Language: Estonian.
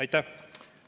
Aitäh!